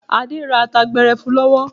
Adé ra ata gbẹrẹfu lọ́wọ́.